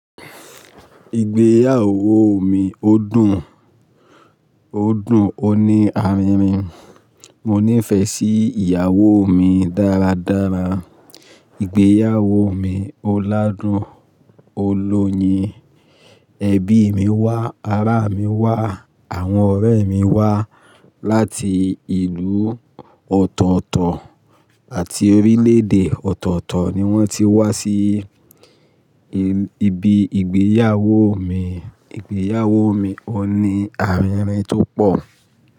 Ìgbéyàwó mi ó dùn ó dun, ó ní àrinrin. Mo nífẹ̀ẹ́ sí ìyàwó mi dáradára. Ìgbéyàwó mi ó ládùn, ó lóyin. Ẹbí mi wá, ará mi wá, àwọn ọ̀rẹ́ mi wá. Láti ìlú ọ̀tọ̀ọ̀tọ̀ àti orílẹ̀-èdè ọ̀tọ̀ọ̀tọ̀ ni wọ́n ti wá sí ibi ìgbéyàwó mi. Ìgbéyàwó mi ó ní àrinrin tó pọ̀